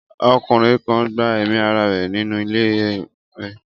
Ọkùnrin kan gba ẹ̀mí ara rẹ̀ nínú ilé rẹ̀.